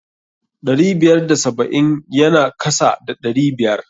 Ɗari biyar da saba'in ya na kasa da ɗari biyar.